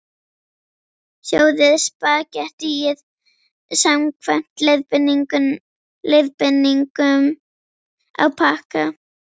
Sjóðið spagettíið samkvæmt leiðbeiningum á pakka.